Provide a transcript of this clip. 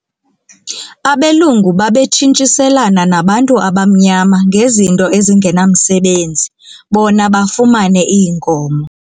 Abelungu babetshintshiselana nabantu abamnyama ngezinto ezingenamsebenzi bona bafumane iinkomo.